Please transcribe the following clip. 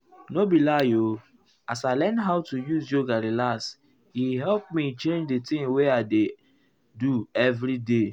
nor be lie o as i learn how to use yoga relax e help me change di thing wey i dey i dey do everyday.